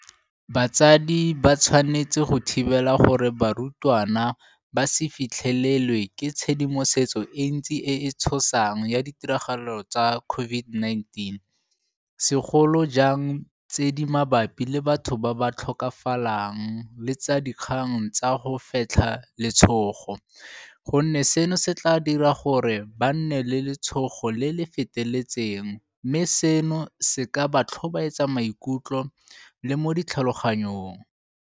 Batsadi ba tshwanetse go thibela gore barutwana ba se fitlhelelwe ke tshedimosetso e ntsi e e tshosang ya ditiragalo tsa COVID-19, segolo jang tse di mabapi le batho ba ba tlhokafalang le tsa dikgang tsa go fetlha letshogo, gonne seno se tla dira gore ba nne le letshogo le le feteletseng mme seno se ka ba tlhobaetsa mo maikutlong le mo ditlhaloganyong.